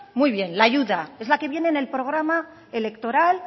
muy bien la ayuda es la que viene en el programa electoral